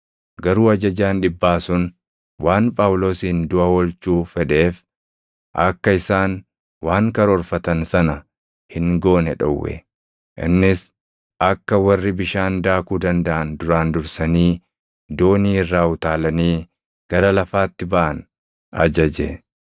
Garuu ajajaan dhibbaa sun waan Phaawulosin duʼa oolchuu fedheef akka isaan waan karoorfatan sana hin goone dhowwe; innis akka warri bishaan daakuu dandaʼan duraan dursanii doonii irraa utaalanii gara lafaatti baʼan ajaje.